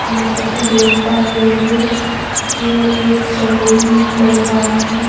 جیسے کہ دیکھ پا رہی ہوں یہ ایک سیلون لگ رہا ہے-